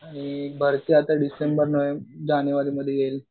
आणि भरती आता डिसेम्बर जानेवारीमध्ये येईल.